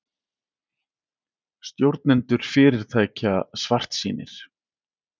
Stjórnendur fyrirtækja svartsýnir